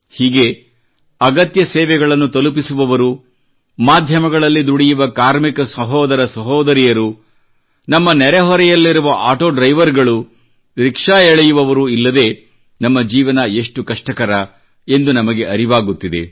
ಹೀಗೆ ಅಗತ್ಯ ಸೇವೆಗಳನ್ನು ತಲುಪಿಸುವವರು ಮಾಧ್ಯಮಗಳಲ್ಲಿ ದುಡಿಯುವ ಕಾರ್ಮಿಕ ಸಹೋದರ ಸಹೋದರಿಯರು ನಮ್ಮ ನೆರೆಹೊರೆಯಲ್ಲಿರುವ ಆಟೋ ಡ್ರೈವರ್ಗಳು ರಿಕ್ಷಾ ಎಳೆಯುವವರು ಇಲ್ಲದೆ ನಮ್ಮ ಜೀವನ ಎಷ್ಟು ಕಷ್ಟಕರ ಎಂದು ನಮಗೆ ಅರಿವಾಗುತ್ತಿದೆ